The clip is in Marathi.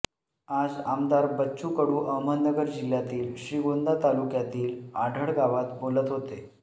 आज आमदार बच्चू कडू अहमदनगर जिल्ह्यातील श्रीगोंदा तालुक्यातील आढळगावात बोलत होते